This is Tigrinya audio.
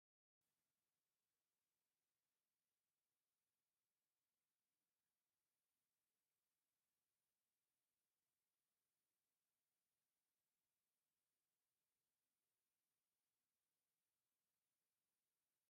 እዞም ኣብ ምስሊ ዝርአዩ ዘለዉ ሰብ ዶክተር ቴድሮስ ኣድሓኖም ይበሃሉ፡፡ ናይ ውድብ ዓለም ጥዕና ዳይሬክተር ድማ እዮም፡፡ እዞም በዓል ስልጣን ፅቡቕ ሽም ዘለዎም እዮም፡፡